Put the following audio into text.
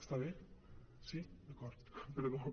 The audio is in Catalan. està bé sí d’acord perdó